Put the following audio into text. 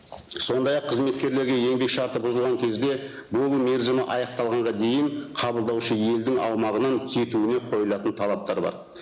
сондай ақ қызметкерлерге еңбек шарты бұзылған кезде болу мерзімі аяқталғанға дейін қабылдаушы елдің аумағынан кетуіне қойылатын талаптар бар